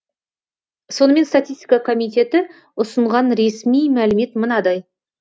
сонымен статистика комитеті ұсынған ресми мәлімет мынадай